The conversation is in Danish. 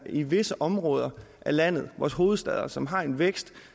er i visse områder af landet vores hovedstad som har en vækst